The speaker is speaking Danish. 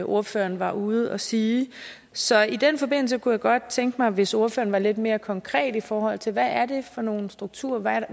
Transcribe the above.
ordføreren var ude at sige så i den forbindelse kunne jeg godt tænke mig hvis ordføreren var lidt mere konkret i forhold til hvad det er for nogle strukturer og hvad